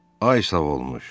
Ay sağolmuş.